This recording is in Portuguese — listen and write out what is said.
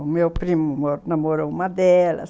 O meu primo namorou uma delas.